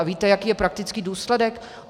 A víte, jaký je praktický důsledek?